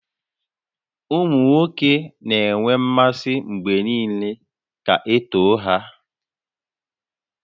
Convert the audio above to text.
Ụmụ nwoke na-enwe mmasị mgbe niile ka e too ha